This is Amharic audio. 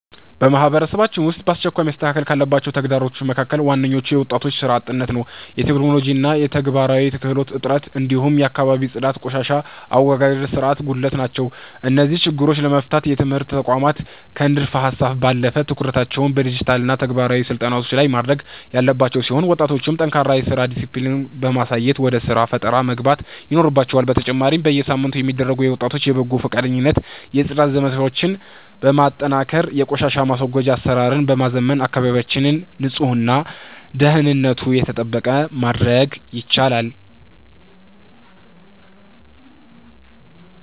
በማህበረሰባችን ውስጥ በአስቸኳይ መስተካከል ካለባቸው ተግዳሮቶች መካከል ዋነኞቹ የወጣቶች ሥራ አጥነት፣ የቴክኖሎጂና የተግባራዊ ክህሎት እጥረት፣ እንዲሁም የአካባቢ ጽዳትና የቆሻሻ አወጋገድ ሥርዓት ጉድለት ናቸው። እነዚህን ችግሮች ለመፍታት የትምህርት ተቋማት ከንድፈ-ሀሳብ ባለፈ ትኩረታቸውን በዲጂታልና ተግባራዊ ስልጠናዎች ላይ ማድረግ ያለባቸው ሲሆን፣ ወጣቶችም ጠንካራ የሥራ ዲስፕሊን በማሳየት ወደ ሥራ ፈጠራ መግባት ይኖርባቸዋል፤ በተጨማሪም በየሳምንቱ የሚደረጉ የወጣቶች የበጎ ፈቃደኝነት የጽዳት ዘመቻዎችን በማጠናከርና የቆሻሻ ማስወገጃ አሰራርን በማዘመን አካባቢያችንን ንጹህና ደህንነቱ የተጠበቀ ማድረግ ይቻላል።